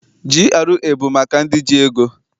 GRA bụ maka ndị ji ego.